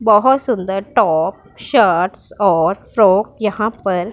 बहुत सुंदर top shirts और फ्रॉक यहां पर --